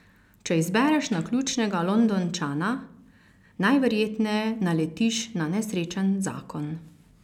Če izbereš naključnega Londončana, najverjetneje naletiš na nesrečen zakon.